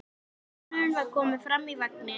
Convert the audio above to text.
Sonurinn var kominn framar í vagninn.